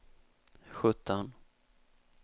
sjutton